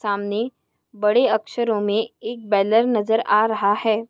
सामने बड़े अक्षरों मे एक बैनर नज़र आ रहा है।